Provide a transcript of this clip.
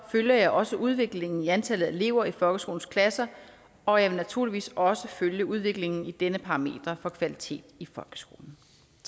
følger jeg også udviklingen i antallet af elever i folkeskolens klasser og jeg vil naturligvis også følge udviklingen på dette parameter for kvalitet i folkeskolen